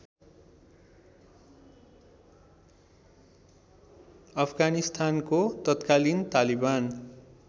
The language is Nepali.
अफगानिस्तानको तत्कालीन तालिबान